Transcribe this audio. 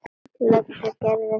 Leigja Gerði þetta.